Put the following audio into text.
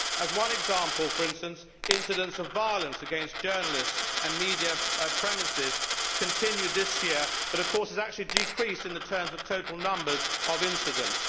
As one example, for instance, incidents of violence against journalists and media premises has continued this year, but has actually decreased in the terms of total numbers of incidents.